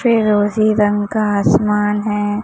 फिरोजी रंग का आसमान है।